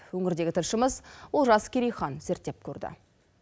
өңірдегі тілшіміз олжас керейхан зерттеп көрді